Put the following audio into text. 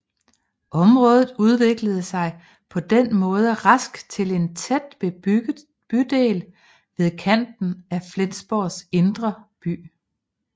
Området udviklede sig på den måde rask til en tæt bebygget bydel ved kanten af Flensborgs indre by